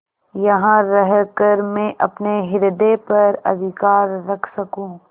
यहाँ रहकर मैं अपने हृदय पर अधिकार रख सकँू